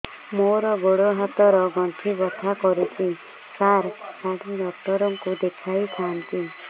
ମୋର ଗୋଡ ହାତ ର ଗଣ୍ଠି ବଥା କରୁଛି ସାର ହାଡ଼ ଡାକ୍ତର ଙ୍କୁ ଦେଖାଇ ଥାନ୍ତି